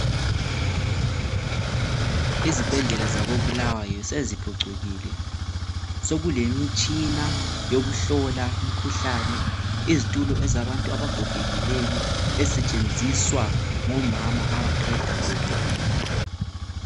izibhedlela zako Bulawayo seziphucukile sokulemitshina yokuhlola umkhuhlane izitulo ezabantu abagogekileyo ezisetshenziswa ngomama abaqeda kubeletha